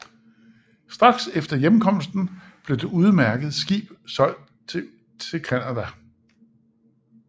Straks efter hjemkomsten blev det udmærkede skib solgt til Canada